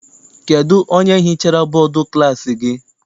Kedụ onye hichara bọdu klassi gị?